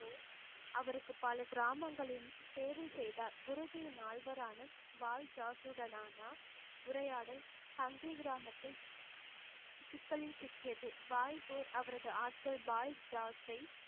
அவருக்கு பல கிராமங்களில் சேவை செய்தார் குருஜியின் நால்வரானா வாய்ஜாசூடநானா உரையாடல் ஹங்கரி கிராமத்தில் சிக்கலில் சிக்கியது வாய்குர் அவரது ஆட்கள் பாய் ஜாசை